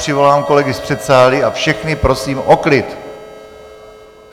Přivolám kolegy z předsálí a všechny prosím o klid.